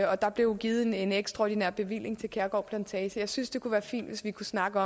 og der blev givet en ekstraordinær bevilling til kærgård plantage jeg synes det kunne være fint hvis vi kunne snakke